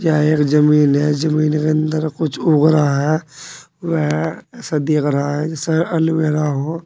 यह एक जमीन है जमीन के अंदर कुछ उग रहा है वह ऐसा दिख रहा है जैसे एलोवेरा हो।